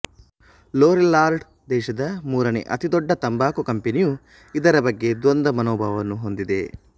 Lorillard ದೇಶದ ಮೂರನೇ ಅತಿ ದೊಡ್ಡ ತಂಬಾಕು ಕಂಪೆನಿಯು ಇದರ ಬಗ್ಗೆ ದ್ವಂದ್ವ ಮನೋಭಾವವನ್ನು ಹೊಂದಿದೆ